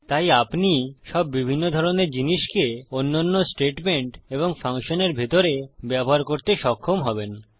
তাই আপনি সব বিভিন্ন ধরণের জিনিসকে অন্যান্য স্টেটমেন্ট এবং ফাংশনের ভিতরে ব্যবহার করতে সক্ষম হবেন